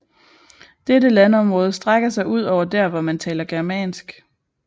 Dette landområde strækker sig ud over der hvor man taler germansk